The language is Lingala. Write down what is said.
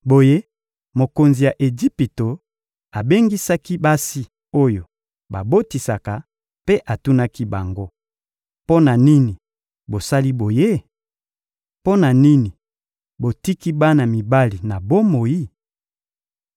Boye mokonzi ya Ejipito abengisaki basi oyo babotisaka mpe atunaki bango: — Mpo na nini bosali boye? Mpo na nini botiki bana mibali na bomoi?